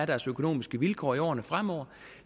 deres økonomiske vilkår er i årene fremover